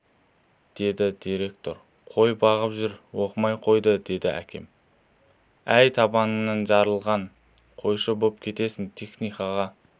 деді директор қой бағып жүр оқымай қойды деді әкем әй табаныңнан жарылған қойшы боп кетесің техникаға